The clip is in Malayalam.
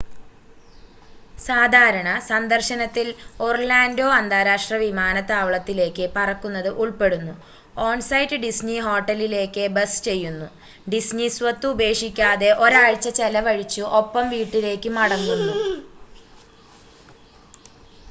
"""സാധാരണ" സന്ദർശനത്തിൽ ഒർലാൻഡോ അന്താരാഷ്ട്ര വിമാനത്താവളത്തിലേക്ക് പറക്കുന്നത് ഉൾപ്പെടുന്നു ഓൺ-സൈറ്റ് ഡിസ്നി ഹോട്ടലിലേക്ക് ബസ് ചെയ്യുന്നു ഡിസ്നി സ്വത്ത് ഉപേക്ഷിക്കാതെ ഒരാഴ്ച ചെലവഴിച്ചു ഒപ്പം വീട്ടിലേക്ക് മടങ്ങുന്നു.